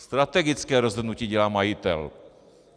Strategické rozhodnutí dělá majitel.